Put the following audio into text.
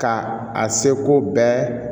Ka a seko bɛɛ